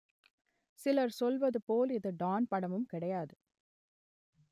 சிலர் சொல்வது போல் இது டான் படமும் கிடையாது